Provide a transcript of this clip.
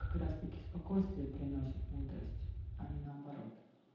как раз-таки спокойствие приносят мудрость а не наоборот